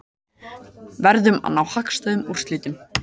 Verðum að ná hagstæðum úrslitum